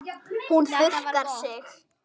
Hún þurrkar sér.